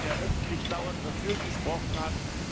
Das war einer, der öffentlich dauernd dafür gesprochen hat.